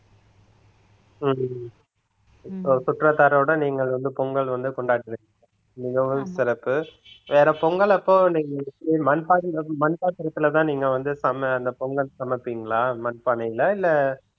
உம் உம் சுற்றாத்தாரோட நீங்க வந்து பொங்கல் வந்து கொண்டாடறீங்க மிகவும் சிறப்பு வேற பொங்கல் அப்போ மண்பானை மண் பாத்திரத்திலேதான் நீங்க வந்து சம~ அந்த பொங்கல் சமைப்பீங்களா மண்பானையில இல்லை